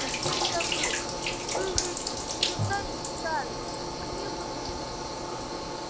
совсем забыл вы ведь никогда не читали книгу духов